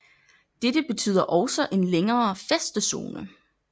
Dette betyder også en længere fæstezone